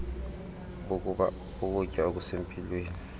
bokuba ukutya okusempilweni